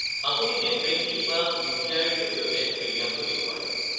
আপুনি net banking বা ইউ.পি.আই.-ৰ জৰিয়তে প্ৰিমিয়ামটো দিব পাৰে।